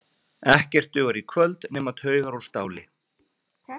Ekkert dugar í kvöld nema taugar úr stáli.